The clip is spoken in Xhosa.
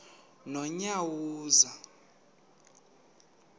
nonyawoza